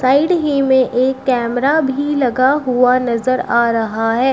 Side ही मे एक कैमरा भी लगा हुआ नजर आ रहा है।